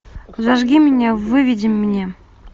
зажги меня выведи мне